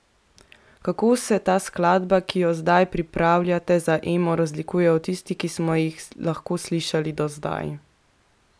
Kako se ta skladba, ki jo zdaj pripravljate za Emo, razlikuje od tistih, ki smo jih lahko slišali do zdaj?